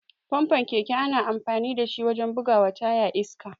Famfon keke ana amfani dashi wajen bugawa taya iska.